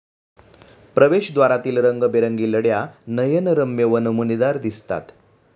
प्रवेशद्वारातील रंगीबेरंगी लड्या नयनरम्य व नमुनेदार दिसतात.